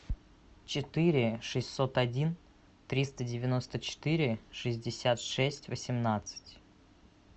четыре шестьсот один триста девяносто четыре шестьдесят шесть восемнадцать